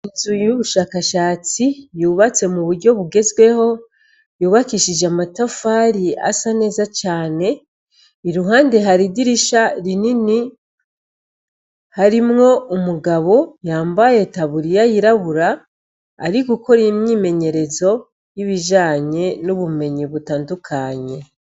Inzu y'ubushakashatsi yubatse mu buryo bugezweho, yubakishije n'amatafari asa neza cane, iruhande hari idirisha rinini harimwo umugabo yambaye taburiya y'irabura ari gukora imyimenyerezo yibijanye n'ubumenyi butandakunye.